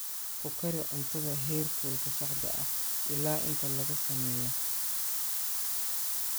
Ku kari cuntada heerkulka saxda ah ilaa inta laga sameeyo.